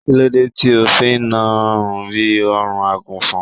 kílódé tí o fi na rùn bi ọrùn agùnfọn?